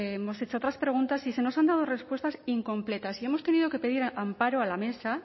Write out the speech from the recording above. hemos hecho otras preguntas y se nos han dado respuestas incompletas y hemos tenido que pedir amparo a la mesa